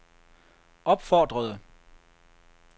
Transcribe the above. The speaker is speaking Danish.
opfordrede